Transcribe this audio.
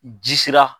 Ji sira